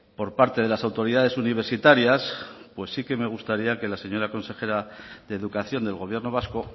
por parte de las autoridades universitarias pues sí que me gustaría que la señora consejera de educación del gobierno vasco